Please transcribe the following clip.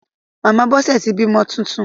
Màmá Bọ́sẹ̀ ti bímọ titun.